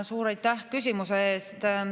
Suur aitäh küsimuse eest!